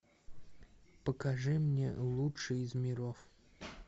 покажи мне лучший из миров